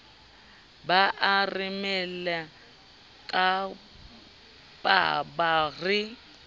ba are lemela kapaba re